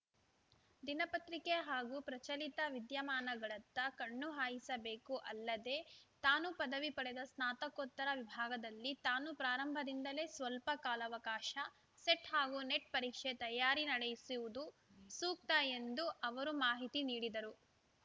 ದಿನಪತ್ರಿಕೆ ಹಾಗೂ ಪ್ರಚಲಿತ ವಿದ್ಯಮಾನಗಳತ್ತ ಕಣ್ಣುಹಾಯಿಸಬೇಕು ಅಲ್ಲದೇ ತಾನು ಪದವಿ ಪಡೆದ ಸ್ನಾತಕೋತ್ತರ ವಿಭಾಗದಲ್ಲಿ ತಾನು ಪ್ರಾರಂಭದಿಂದಲೇ ಸ್ವಲ್ಪ ಕಾಲಾವಕಾಶ ಸೆಟ್ ಹಾಗೂ ನೆಟ್ ಪರೀಕ್ಷೆ ತಯಾರಿ ನಡೆಸುವುದು ಸೂಕ್ತ ಎಂದು ಅವರು ಮಾಹಿತಿ ನೀಡಿದರು